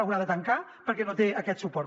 haurà de tancar perquè no té aquest suport